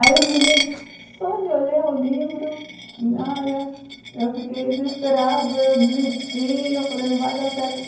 Aí eles me ligam, só de olhar o livro, olha, eu fiquei desesperada, eu desisti, eu falei, não vai dar certo.